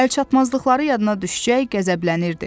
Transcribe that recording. Əlçatmazlıqları yadına düşcək, qəzəblənirdi.